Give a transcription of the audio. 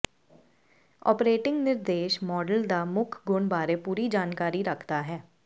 operating ਨਿਰਦੇਸ਼ model ਦਾ ਮੁੱਖ ਗੁਣ ਬਾਰੇ ਪੂਰੀ ਜਾਣਕਾਰੀ ਰੱਖਦਾ ਹੈ